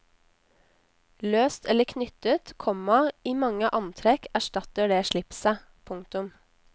Løst eller knyttet, komma i mange antrekk erstatter det slipset. punktum